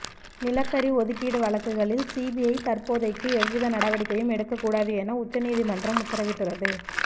நிலக்கரி ஒதுக்கீடு வழக்குகளில் சிபிஐ தற்போதைக்கு எவ்வித நடவடிக்கையும் எடுக்கக் கூடாது என உச்ச நீதிமன்றம் உத்தரவிட்டுள்ளது